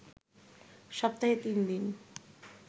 সপ্তাহে ৩ দিন